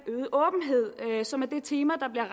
øget åbenhed som er det tema der bliver